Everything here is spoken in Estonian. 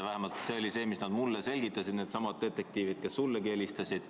Vähemalt nii selgitasid mulle needsamad detektiivid, kes sullegi helistasid.